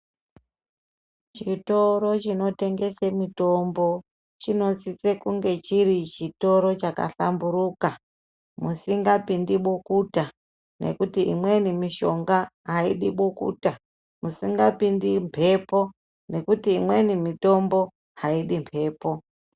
Chitoro chinotengese mutombo chinosisa kuti chinge chiri chitoro chakahlamburuka musingapindi bukuta ngekuti imweni mishinga aidi bukuta musingapindi mbepo ngekuti imweni mitombo aidi mbepo.